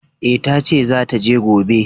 E, ta ce za ta je gobe.